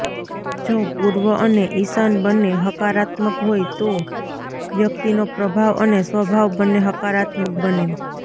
જો પૂર્વ અને ઇશાન બંને હકારાત્મક હોય તો વ્યક્તિનો પ્રભાવ અને સ્વભાવ બંને હકારાત્મક બને